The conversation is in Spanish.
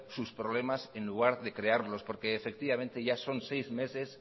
sus problemas en lugar de crearlos porque ya son seis meses